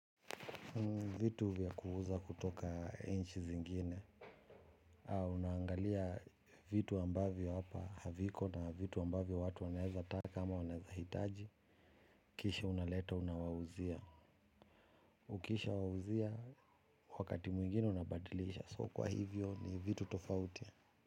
Vitu vya kuuza kutoka inchi zingine. Unaangalia vitu ambavyo hapa haviko na vitu ambavyo watu waneza taka ama wanaeza hitaji. Kisha unaleta unawauzia. Ukisha wauzia wakati mwingine unabadilisha. So kwa hivyo ni vitu tofauti.